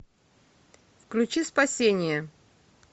включи спасение